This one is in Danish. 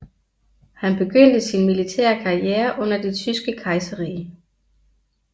Han begyndte sin militære karriere under Det Tyske Kejserrige